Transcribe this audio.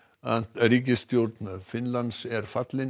ríkisstjórn Finnlands er fallin